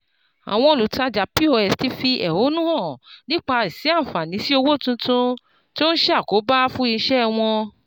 Àwọn olùtajà POS ti fi ẹ̀hónú hàn nípa àìsí àǹfàní sí owó tuntun, tí ó ń ṣe àkóbá fún iṣẹ́ wọn.